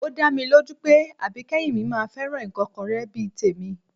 Ó dá mi lójú pé àbíkẹ́yìn mi máa fẹ́ràn ìkọ́kọrẹ́ bí i tèmi